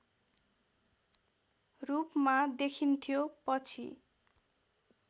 रूपमा देखिन्थ्यो पछि